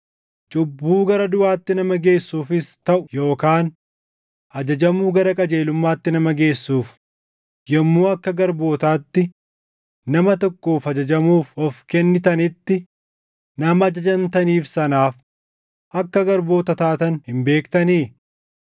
Cubbuu gara duʼaatti nama geessuufis taʼu yookaan ajajamuu gara qajeelummaatti nama geessuuf, yommuu akka garbootaatti nama tokkoof ajajamuuf of kennitanitti, nama ajajamtaniif sanaaf akka garboota taatan hin beektanii?